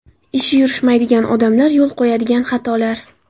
Ishi yurishmaydigan odamlar yo‘l qo‘yadigan xatolar.